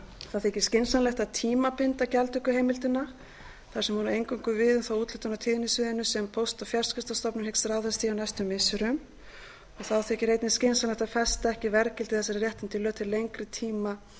það þykir skynsamlegt að tímabinda gjaldtökuheimildina þar sem hún á eingöngu við um þá úthlutun á tíðnisviðinu sem póst og fjarskiptastofnun hyggst ráðast í á næstu missirum þá þykir einnig skynsamlegt að festa ekki verðgildi þessara réttinda í lög til lengri tíma